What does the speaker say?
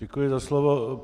Děkuji za slovo.